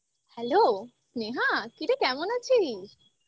hello Sneha কিরে কেমন আছিস?